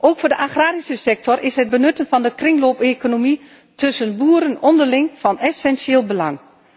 Ook voor de agrarische sector is het benutten van de kringloopeconomie tussen boeren onderling van essentieel belang.